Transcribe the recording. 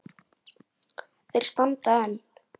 Þeir standa enn.